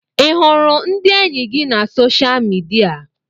Ị hụrụ ndị enyi gị na soshaal midia?